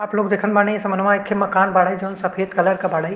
आप लोग देखन बानी। समन्वा एखे मकान बाड़े। जोवन सफेद कलर के बाड़े।